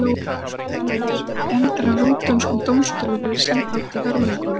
Margar konur hafa hins vegar verið dæmdar af rúöndskum dómstólum fyrir sinn þátt í hörmungunum.